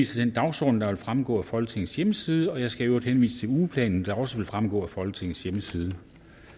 til den dagsorden der vil fremgå af folketingets hjemmeside jeg skal i øvrigt henvise til ugeplanen der også vil fremgå af folketingets hjemmeside